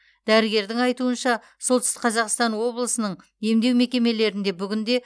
дәрігердің айтуынша солтүстік қазақстан облысының емдеу мекемелерінде бүгінде